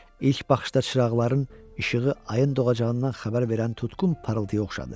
İlk baxışda çıraqların işığı ayın doğacağından xəbər verən tutqun parıltıya oxşadı.